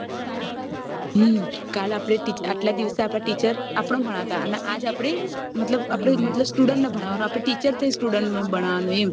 હમ કાલ આપડે આટલા દિવસે આપણ ભણાવતા અને આજ આપડે મતલબ આપડે student ને ભણાવશું આપડે teacher થઇ student ને ભણાવવાનું એમ